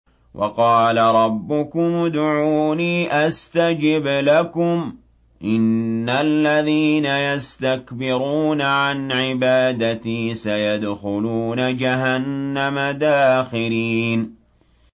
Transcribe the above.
وَقَالَ رَبُّكُمُ ادْعُونِي أَسْتَجِبْ لَكُمْ ۚ إِنَّ الَّذِينَ يَسْتَكْبِرُونَ عَنْ عِبَادَتِي سَيَدْخُلُونَ جَهَنَّمَ دَاخِرِينَ